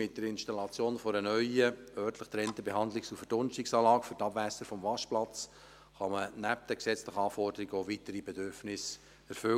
Mit der Installation einer neuen, örtlich getrennten Behandlungs- und Verdunstungsanlage für die Abwässer des Waschplatzes kann man nebst den gesetzlichen Anforderungen auch weitere Bedürfnisse erfüllen.